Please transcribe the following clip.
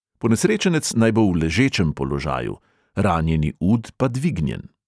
Ponesrečenec naj bo v ležečem položaju, ranjeni ud pa dvignjen.